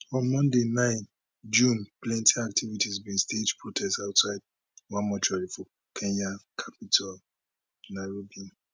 on monday 9 june plenty activists bin stage protest outside one mortuary for kenya capital nairobi